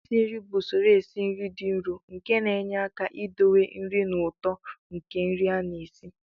Isi nri bụ usoro esi nri dị nro nke na-enyere aka idowe nri na ụtọ nke nri a na-esi